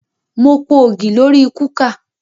Mo po ògì lórí kúkà